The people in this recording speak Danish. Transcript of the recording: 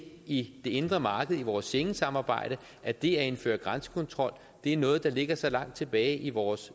i det indre marked i vores schengensamarbejde at det at indføre grænsekontrol er noget der ligger så langt tilbage i vores